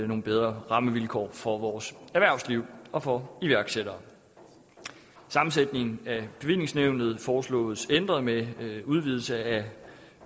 nogle bedre rammevilkår for vores erhvervsliv og for iværksættere sammensætningen af bevillingsnævnet foreslås ændret med udvidelse af